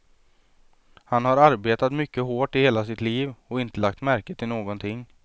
Han har arbetat mycket hårt i hela sitt liv och inte lagt märke till någonting.